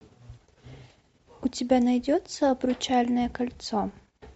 у тебя найдется обручальное кольцо